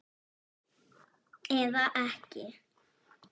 Eða ekki!